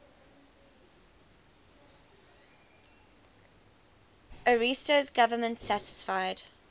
ariosto's government satisfied